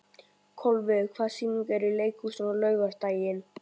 Kolviður, hvaða sýningar eru í leikhúsinu á laugardaginn?